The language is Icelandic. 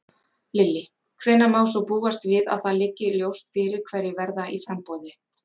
Lillý: Hvenær má búast við að það liggi svo ljóst fyrir hverjir verða í framboði?